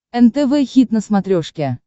нтв хит на смотрешке